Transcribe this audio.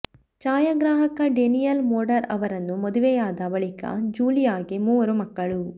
ಛಾಯಾಗ್ರಾಹಕ Daniel Moder ಅವರನ್ನು ಮದುವೆಯಾದ ಬಳಿಕ ಜೂಲಿಯಾಗೆ ಮೂವರು ಮಕ್ಕಳು